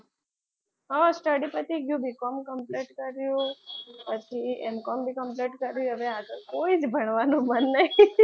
હા study પતી ગયું B com complete કર્યું પછી M complete કર્યું હવે આગળ કોઈ જ ભણવાનું મન નહીં.